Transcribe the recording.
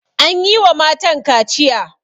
An yi wa matan kaciya.